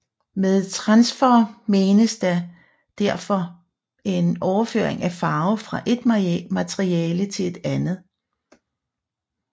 Med transfer menes derfor en overføring af farve fra et materiale til et andet